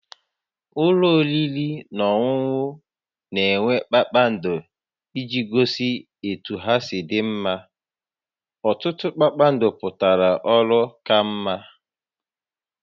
Ụlọ oriri na ọṅụṅụ na-enweta kpakpando iji gosi etu ha si dị mma, ọtụtụ kpakpando pụtara ọrụ ka mma